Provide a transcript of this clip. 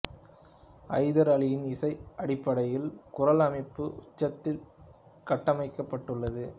ஐதர் அலியின் இசை அடிப்படையில் குரல் அமைப்பு உச்சத்தில் கட்டமைக்கப்பட்டுள்ளது